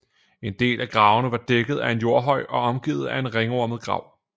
En del af gravene var dækket af en jordhøj og omgivet af en ringformet grav